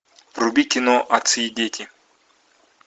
вруби кино отцы и дети